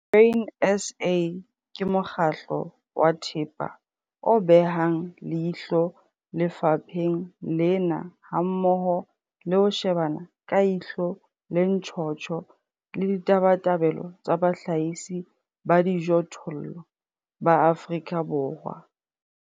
Grain SA ke mokgatlo wa thepa o behang leihlo lefapheng lena hammoho le ho shebana ka ihlo le ntjhotjho le ditabatabelo tsa bahlahisi ba dijothollo ba Afrika Borwa.